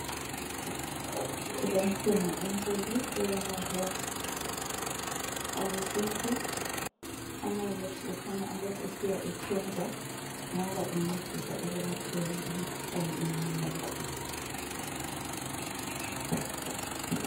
Kulensimu enkulu eyamaherbs awesintu. Amaherbs kukhanya alokhu esiya ethenjwa ngoba encedisa ekwelapheni imikhuhlane eminengi.